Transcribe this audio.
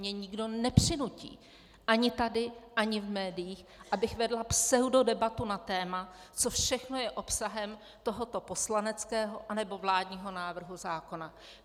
Mě nikdo nepřinutí, ani tady, ani v médiích, abych vedla pseudodebatu na téma, co všechno je obsahem tohoto poslaneckého nebo vládního návrhu zákona.